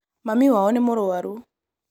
Mami wao nĩ mũrwaru